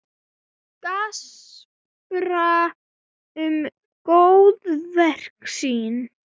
Gaspra um góðverk sín.